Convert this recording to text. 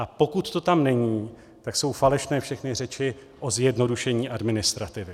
A pokud to tam není, tak jsou falešné všechny řeči o zjednodušení administrativy.